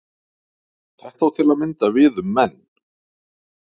Þetta á til að mynda við um menn.